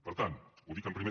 per tant ho dic en primer